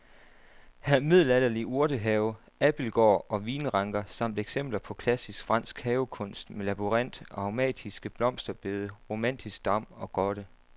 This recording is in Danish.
Her er middelalderlig urtehave, abildgård og vinranker samt eksempler på klassisk fransk havekunst med labyrint, aromatiske blomsterbede, romantisk dam og grotte.